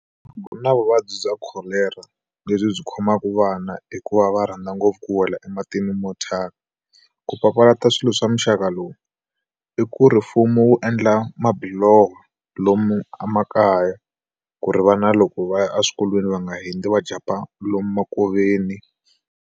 Ku na vuvabyi bya kholera lebyi byi khomaka vana hi ku va va rhandza ngopfu ku wela ematini mothyaka ku papalata swilo swa muxaka lowu i ku ri mfumo wu endla mabiloho lomu emakaya ku ri va na loko va ya eswikolweni va nga hindzi va jampa lomu makoveni.